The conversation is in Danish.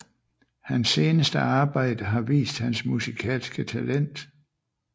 Hans seneste arbejde har vist hans musikalske talent